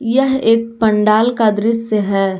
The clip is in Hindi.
यह एक पंडाल का दृश्य है।